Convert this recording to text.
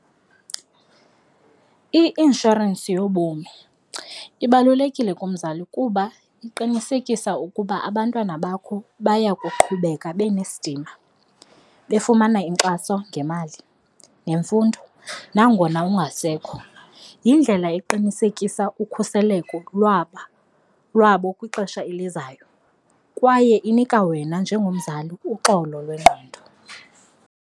I-inshorensi yobomi ibalulekile kumzali kuba iqinisekisa ukuba abantwana bakho baya kuqhubeka benesidima, befumana inkxaso ngemali nemfundo nangona ungasekho. Yindlela eqinisekisa ukhuseleko lwaba lwabo kwixesha elizayo kwaye inika wena njengomzali uxolo lwengqondo.